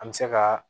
An bɛ se ka